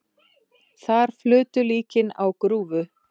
Þar flutu líkin á grúfu.